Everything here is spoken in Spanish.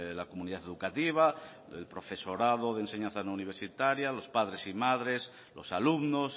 la comunidad educativa el profesorado de enseñanza no universitaria los padres y madres los alumnos